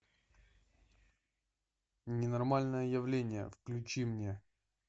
ненормальное явление включи мне